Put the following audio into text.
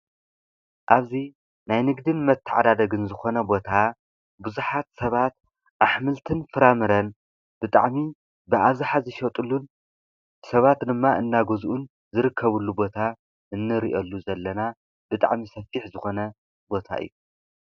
እብዚ ናይ ንግድን መተዓዳደግን ዝኾነ ቦታ ብዙሓት ሰባት አሕምልትን ፍራምረን ብጣዕሚ ብአብዘሓ ዝሸጥሉን ሰባት ድማ እና ግዝኡን ዝርከብሉ ቦታ እንሪአሉ ዘለና ብጣዕሚ ሰፊሕ ዝኾነ ቦታ እዩ።